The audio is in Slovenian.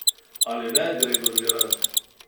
Ali ne, Gregor Virant?